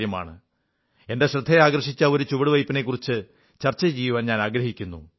എന്റെ ശ്രദ്ധയാകർഷിച്ച ഒരു ചുവടുവയ്പ്പിനെക്കുറിച്ച് ചർച്ച ചെയ്യാനാഗ്രഹിക്കുന്നു